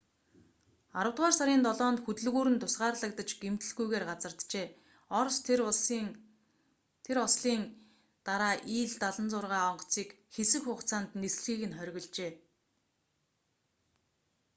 аравдугаар сарын 7-нд хөдөлгүүр нь тусгаарлагдаж гэмтэлгүйгээр газарджээ орос тэр ослын дараа ил-76 онгоцыг хэсэг хугацаанд нислэгийг нь хоригложээ